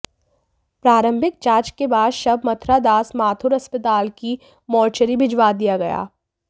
प्रारम्भिक जांच के बाद शव मथुरादास माथुर अस्पताल की मोर्चरी भिजवा दिया गया